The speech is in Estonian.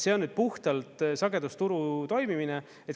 See on puhtalt sagedusturu toimimine.